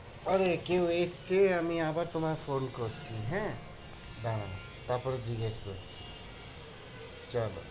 আরে কেউ এসছে, আমি আবার তোমায় phone করছি হ্যাঁ দাঁড়াও তারপরে জিজ্ঞাস করছি চলো,